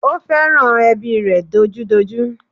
Ó fẹ́ràn ẹbí rẹ̀ dojúdojú